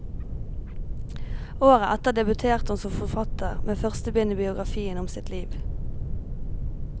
Året etter debuterte hun som forfatter med første bind i biografien om sitt liv.